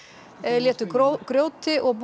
létu grjóti og